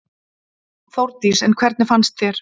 Þórdís: En hvernig fannst þér?